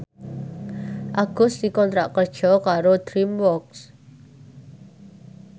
Agus dikontrak kerja karo DreamWorks